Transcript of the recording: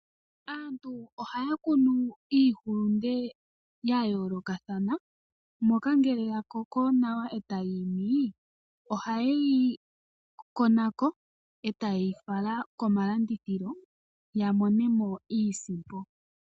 Aantu ohaya kunu iihulunde yayolokathana moka ngeke yakoko nawa etayi imi ohayeyi kona ko eta ye yi fala komalandithilo yamonemo iisimpo.